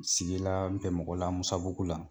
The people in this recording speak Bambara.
Sigi laa n tɛ mɔgɔ la Musabugu la